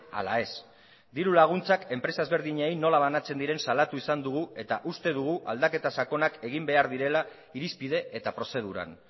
ala ez dirulaguntzak enpresa ezberdinei nola banatzen diren salatu izan dugu eta uste dugu aldaketa sakonak egin behar direla irizpide eta prozeduran